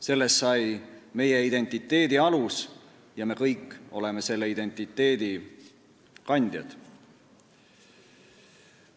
Sellest sai meie identiteedi alus ja me kõik oleme selle identiteedi kandjad.